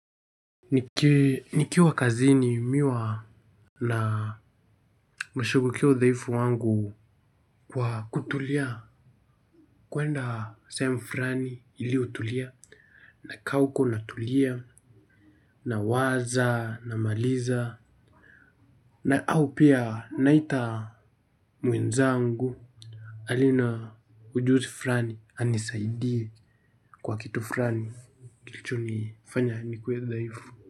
Nikiwa kazini mi huwa nashughulikia udhaifu wangu kwa kutulia kuenda sehemu fulani iliyotulia na kaa huko n tulia nawaza namaliza na au pia naita mwenzangu aliye na ujuzi fulani anisaidie kwa kitu fulani kilichonifanya nikue dhaifu.